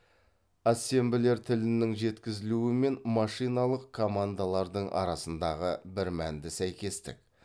ассемблер тілінің жеткізілуі мен машиналық командалардың арасындағы бірмәнді сәйкестік